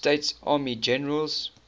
states army generals